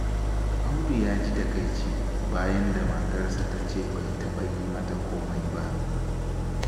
Audu ya ji takaici, bayan da matarsa ta ce bai taɓa yi mata komai ba.